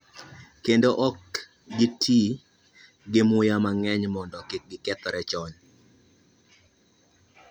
Kendo ok giti gi muya mang'eny mondo kik gikethore chon